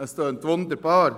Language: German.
Das tönt wunderbar.